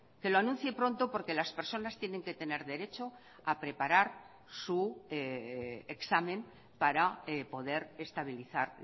que lo anuncie pronto porque las personas tienen que tener derecho a preparar su examen para poder estabilizar